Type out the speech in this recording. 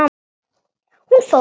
Hún fór.